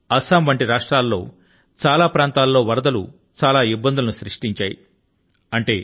బిహార్ అసమ్ ల వంటి రాష్ట్రాల లో చాలా ప్రాంతాల లో వరదలు అనేక ఇబ్బందులను సృష్టించాయి